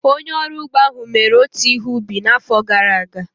Onye ọrụ ugbo ahụ mere otu ihe ubi n'afọ gara aga.